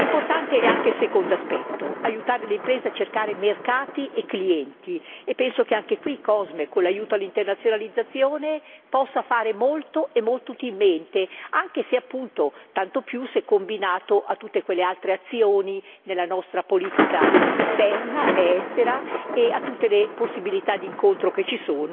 Importante è anche il secondo aspetto aiutare le imprese a cercare mercati e clienti e penso che anche qui COSME, con l'aiuto all'internazionalizzazione, possa fare molto e molto utilmente, tanto più se combinato a tutte quelle altre azioni nella nostra politica esterna ed estera e a tutte le possibilità di incontro esistenti